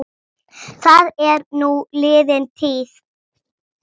Hann neitar sök.